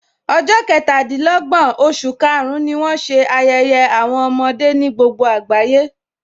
Ọjọ́ ketadinlogbon oṣù karùn-ún ni wọn ṣe ayẹyẹ àwọn ọmọdé ní gbogbo agbaye.